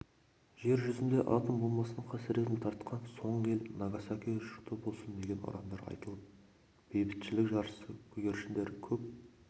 жер жүзінде атом бомбасының қасіретін тартқан соңғы ел нагасаки жұрты болсын деген ұрандар айтылып бейбітшілік жаршысы көгершіндер көк